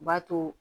B'a too